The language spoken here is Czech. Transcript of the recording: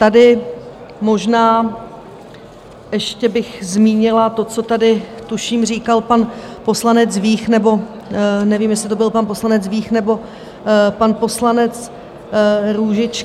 Tady možná ještě bych zmínila to, co tady tuším říkal pan poslanec Vích, nebo nevím, jestli to byl pan poslanec Vích nebo pan poslanec Růžička...